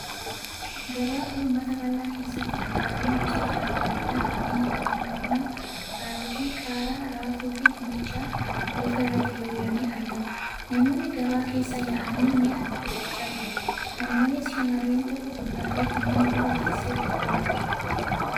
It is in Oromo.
Gabaa uummataa bal'aa keessatti kuduraaleen gosoota adda addaa kanneen akka timaatimaa, kaarotii, qaaraa, raafuu fi dinnichaa hurufa irratti diriiranii argamu. Namoonni gabaa keessa yaa'anii mi'a bitachaa jiru. Kana malees, shamarreen tokko kuduraalee kanneen duuba teessee gurguraa jirti.